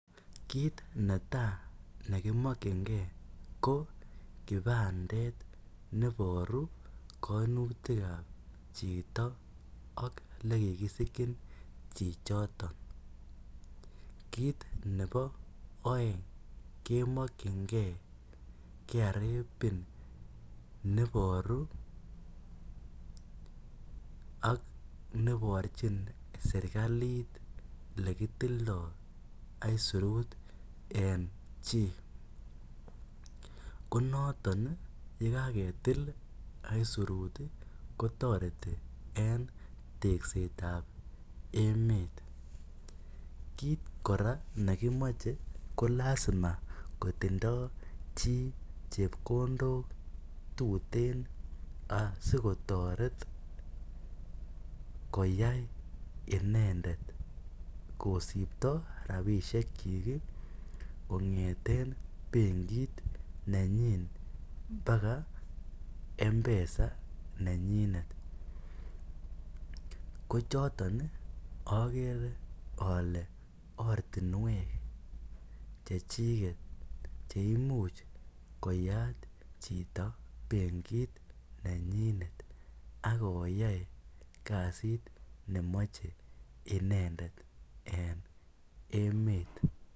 Kit ne tai neimakyiigei ko kipandet nebaruu kaimutiik ab chitoo ak ele kikisikyoin chi chotoon kit nebo aeng kemakyigei [Kenya revenue authority pin ] neboruu ak neborjii serikaliit ele kitilndae aisirut en chii ko notoon ye kagetil aisirut ii kotaretii eng tekseet ab emeet kit kora age nekimachei ko lazima kotindoi chii chepkondook sikotaret koyai inendet kosiptoo rapisheek kyiik kongethen benkiit nenyiin mpaka mpesa nenyinet ko chotoon ii agere ale ortinweek che chikeek cheimuuch koyaat chitoo benkiit nenyinet ak koyai kasiit memachei inendet eng emet .